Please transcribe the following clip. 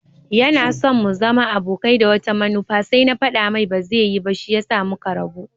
Yanaso mu zama abokai da wata manufa sai na faɗa mai baza yi ba shiyasa muka rabu.